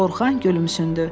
Orxan gülümsündü.